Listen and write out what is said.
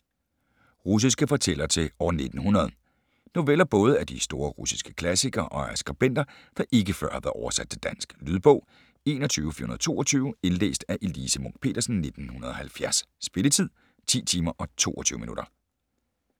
Russiske fortællere til år 1900 Noveller både af de store russiske klassikere og af skribenter, der ikke før har været oversat til dansk. Lydbog 21422 Indlæst af Elise Munch-Petersen, 1970. Spilletid: 10 timer, 22 minutter.